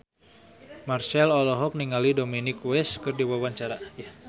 Marchell olohok ningali Dominic West keur diwawancara